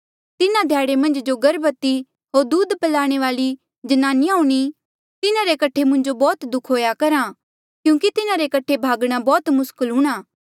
तिन्हा ध्याड़े मन्झ जो गर्भवती होर दूध प्याणे वाली ज्नानिया हूणीं तिन्हारे कठे मुंजो बौह्त दुःख हुएआ करहा क्यूंकि तिन्हारे कठे भगणा बौह्त मुस्कल हूंणां